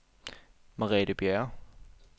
Merete Bjerre